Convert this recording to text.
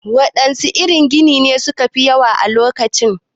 Waɗanne irin ginin ne su ka fi yawa a lokacin?